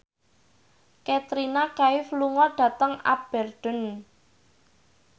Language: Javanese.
Katrina Kaif lunga dhateng Aberdeen